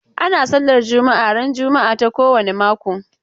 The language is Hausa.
Ana sallar juma'a ran juma'a ta kowane mako.